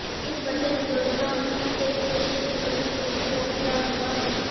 इन बचत योजनाओं से देश के लोगों को भी बहुत लाभ हुआ है